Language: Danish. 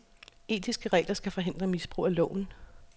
Etiske regler skal hindre misbrug af loven.